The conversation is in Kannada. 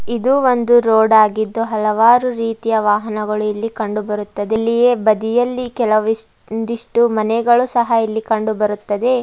ಇದು ಒಂದು ರೋಡ್ ಆಗಿದ್ದು ಹಲವಾರು ರೀತಿಯ ವಾಹನಗಳು ಇಲ್ಲಿ ಕಂಡುಬರುತ್ತದೆ ಇಲ್ಲಿಯೇ ಬದಿಯಲ್ಲಿ ಕೆಲವಿಶ್ ಒಂದಿಷ್ಟು ಮನೆಗಳು ಸಹ ಇಲ್ಲಿ ಕಂಡುಬರುತ್ತದೆ.